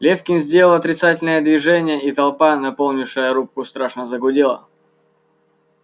лефкин сделал отрицательное движение и толпа наполнившая рубку страшно загудела